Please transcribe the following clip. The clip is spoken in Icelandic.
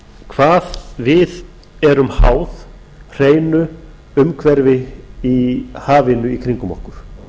hvað við erum háð hreinu umhverfi í hafinu í kringum okkur